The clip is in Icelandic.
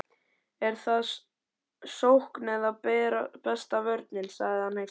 En þar eð sókn er besta vörnin, sagði hann hneykslaður